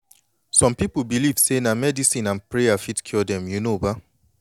some pipu believe say na medicine and prayer fit cure dem you know ba